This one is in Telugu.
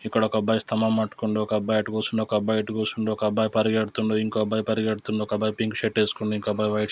ఇక్కడ ఒక అబ్బాయి స్థంభం పట్టుకుండు ఒక్క అబ్బాయి అటు కుసుండు ఒక అబ్బాయి ఇటు కుసుండు ఒక అబ్బాయి పరిగేడుతుండు ఇంకో అబ్బాయి పరిగేడుతుండు ఒక అబ్బాయి పింక్ షర్టు వేస్కుండు ఇంకో అబ్బాయి వైట్ --